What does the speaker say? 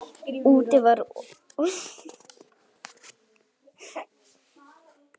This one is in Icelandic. Úti var rok og rigning.